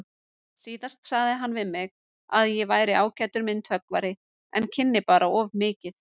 Síðast sagði hann við mig að ég væri ágætur myndhöggvari en kynni bara of mikið.